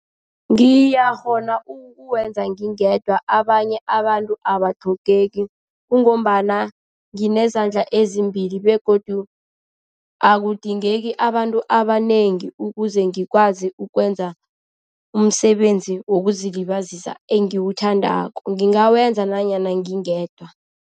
Ngiyakghona ukuwenza ngingedwa, abanye abantu abatlhogeki. Kungombana nginezandla ezimbili begodu akudingeki abantu abanengi ukuze ngikwazi ukwenza umsebenzi wokuzilibazisa engiwuthandako. Ngingawenza nanyana ngingedwa.